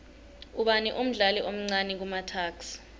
ubani umdlali omcani kumatuks